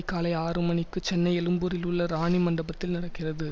காலை ஆறு மணிக்கு சென்னை எழும்பூரில் உள்ள ராணி மண்டபத்தில் நடக்கிறது